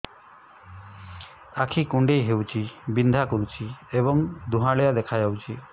ଆଖି କୁଂଡେଇ ହେଉଛି ବିଂଧା କରୁଛି ଏବଂ ଧୁଁଆଳିଆ ଦେଖାଯାଉଛି